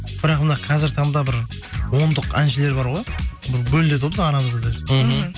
бірақ мына қазіргі таңда бір ондық әншілер бар ғой бөлінеді ғой біздің арамызда даже мхм